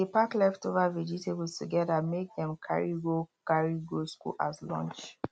dey pack leftover vegetables together make dem carry go carry go school as lunch